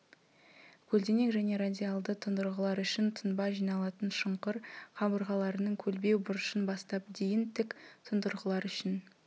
көлденең және радиалды тұндырғылар үшін тұнба жиналатын шұңқыр қабырғаларының көлбеу бұрышын бастап дейін тік тұндырғылар үшін